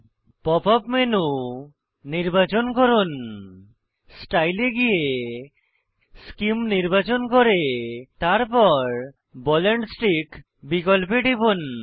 pop up menu নির্বাচন করুন style এ গিয়ে সেমে নির্বাচন করে তারপর বল এন্ড স্টিক বিকল্পে টিপুন